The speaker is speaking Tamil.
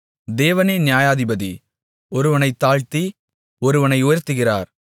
தேவனே நியாயாதிபதி ஒருவனைத் தாழ்த்தி ஒருவனை உயர்த்துகிறார்